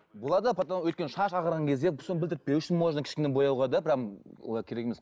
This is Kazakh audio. болады потом өйткені шаш ағарған кезде соны білдіртпеу үшін можно кішкене бояуға да прямо олай керек емес